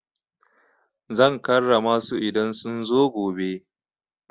Zan karrama su idan sun zo gobe.